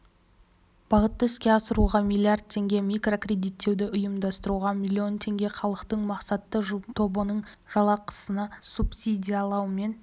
бағытты іске асыруға млрд теңге микрокредиттеуді ұйымдастыруға миллион теңге халықтың мақсатты тобының жалақысын субсидиялау мен